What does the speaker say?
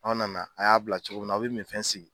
A' nana a y'a bila cogo min na a bɛ minfɛn sigi.